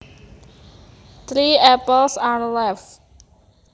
Three apples are left